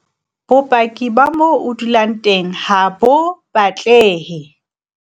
Bopaki ba moo o dulang teng HA BO batlehe.